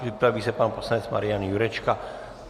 Připraví se pan poslanec Marian Jurečka.